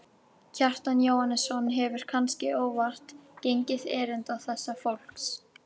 Kjartan Jóhannsson hefur, kannske óvart, gengið erinda þessa fólks.